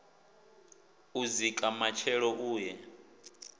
u dzika matshelo u ye